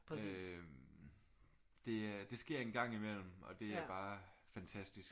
Det øh det sker en gang imellem og det er bare fantastisk